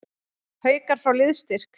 Haukar fá liðsstyrk